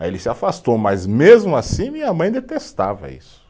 Aí ele se afastou, mas mesmo assim minha mãe detestava isso.